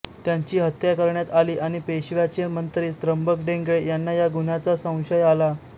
त्यांची हत्या करण्यात आली आणि पेशव्याचे मंत्री त्र्यंबक डेंगळे यांना या गुन्ह्याचा संशय आला